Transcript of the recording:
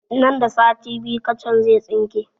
Nan da sati biyu kacan zai tsinke